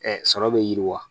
sɔrɔ bɛ yiriwa